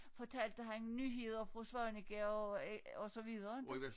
Fortalte han nyheder fra Svaneke og øh og så videre inte